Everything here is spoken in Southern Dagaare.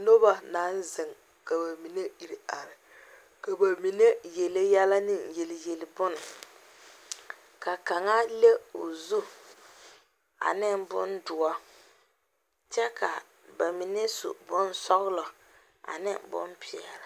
Noba naŋ zeŋ ka ba mine iri are, ka ba mine yeli yɛlɛ ne yeli yeli bon ka kaŋa. le o zu ane bondoɔre kyɛ ka ba mine su bon sɔglɔ ane bonpɛɛle.